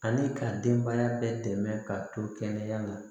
Ani ka denbaya bɛɛ dɛmɛ ka to kɛnɛya la